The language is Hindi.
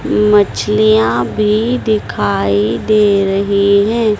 मछलियां भी दिखाई दे रही है।